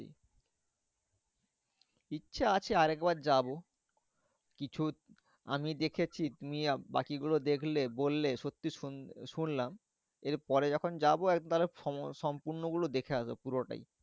ইচ্ছা আছে আরেকবার যাবো। কিছু আমি দেখেছি তুমি বাকি গুলো দেখলে বললে সত্যি শুন শুনলাম। এর পরে যখন যাবো একবারে সম সম্পূর্ণ গুলো দেখে আসবো পুরোটাই।